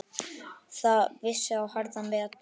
Það vissi á harðan vetur.